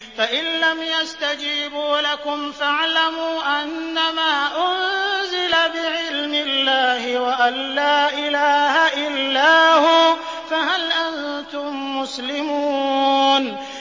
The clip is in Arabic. فَإِلَّمْ يَسْتَجِيبُوا لَكُمْ فَاعْلَمُوا أَنَّمَا أُنزِلَ بِعِلْمِ اللَّهِ وَأَن لَّا إِلَٰهَ إِلَّا هُوَ ۖ فَهَلْ أَنتُم مُّسْلِمُونَ